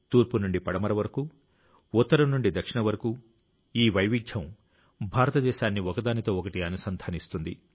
తూర్పు నుండి పడమర వరకు ఉత్తరం నుండి దక్షిణం వరకు ఈ వైవిధ్యం భారతదేశాన్ని ఒకదానితో ఒకటి అనుసంధానిస్తుంది